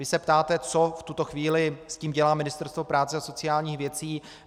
Vy se ptáte, co v tuto chvíli s tím dělá Ministerstvo práce a sociálních věcí.